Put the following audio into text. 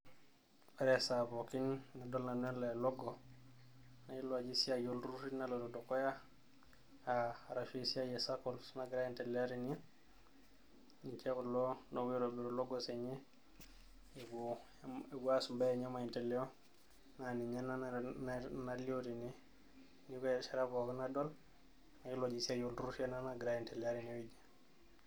Ore esaa pookin nadol nanu ele logo, nayiolou ajo esiai olturrurri naloito dukuya, ah arashu esiai e Sacco nagira aiendelea tene. Ninche kulo opuo aitobiru logos enye epuo aas imbaa enye emaendeleo, na ninye ena nalio tene. Neeku ore erishata pookin nadol, nayiolou ajo esiai olturrurri ena nagira aiendelea tenewueji.